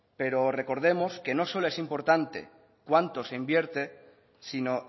pero recordemos que no solo es importante cuánto se invierte sino